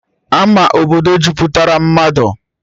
Ama obodo jupụtara mmadụ